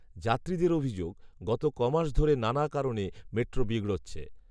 যাত্রীদের অভিযোগ, গত কমাস ধরে নানান কারণে মেট্রো বিগড়োচ্ছে